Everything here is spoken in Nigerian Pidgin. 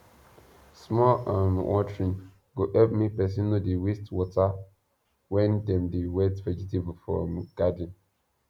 small um watering go help make person no dey waste water when dem dey wet vegetable for um garden